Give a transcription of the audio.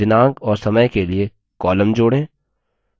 दिनांक और समय के लिए column जोड़ें